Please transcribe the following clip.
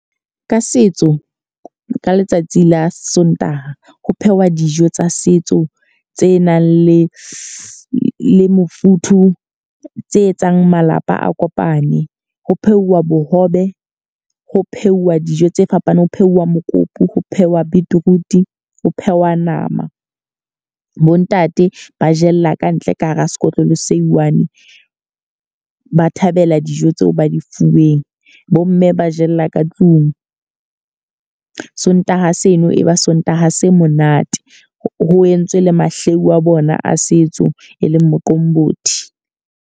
Ka setso ka letsatsi la Sontaha ho phehwa dijo tsa setso, tse nang le le mofuthu. Tse etsang malapa a kopane. Ho pheuwa bohobe, ho pheuwa dijo tse fapaneng. Ho pheuwa mokopu, ho phehwa beetroot, ho phehwa nama. Bo ntate ba jella kantle ka hara sekotlolo se one, ba thabela dijo tsa tseo ba di fuweng. Bo mme ba jella ka tlung. Sontaha seno e ba Sontaha se monate. Ho entswe le mahlehu a bona a setso, e leng Moqombothi.